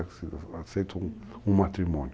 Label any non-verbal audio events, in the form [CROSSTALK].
[UNINTELLIGIBLE] um matrimônio. Uhum.